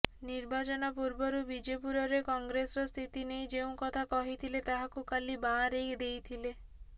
ନିର୍ବାଚନ ପୂର୍ବରୁ ବିଜେପୁରରେ କଂଗ୍ରେସର ସ୍ଥିତି ନେଇ ଯେଉଁ କଥା କହିଥିଲେ ତାହାକୁ କାଲି ବାଆଁରେଇ ଦେଇଥିଲେ